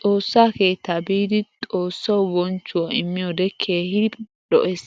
Xoossa keettaa biidi xoossawu bonchchuwa immiyode keehin lo'ees.